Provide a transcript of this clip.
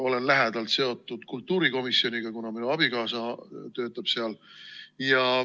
Olen lähedalt seotud kultuurikomisjoniga, kuna minu abikaasa töötab seal.